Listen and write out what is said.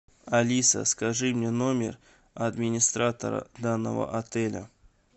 алиса скажи мне номер администратора данного отеля